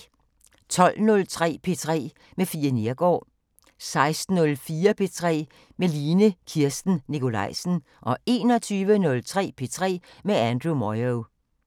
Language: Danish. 12:03: P3 med Fie Neergaard 16:04: P3 med Line Kirsten Nikolajsen 21:03: P3 med Andrew Moyo